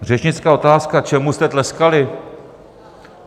Řečnická otázka: Čemu jste tleskali?